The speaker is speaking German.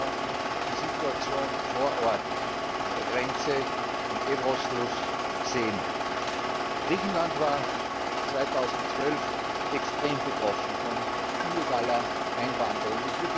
Wir konnten die Situation vor Ort an der Grenze, am Fluss Evros sehen. Griechenland war bis 2012 extrem betroffen von illegaler Einwanderung.